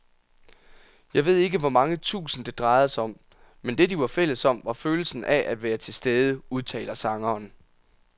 Jeg ved ikke hvor mange tusind, det drejede sig om, men det, de var fælles om, var følelsen af at være tilstede, udtaler sangeren.